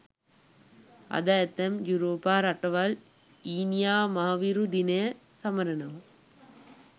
අද ඇතැම් යුරෝපා රටවල් ඊනියා මහවිරු දිනය සමරනවා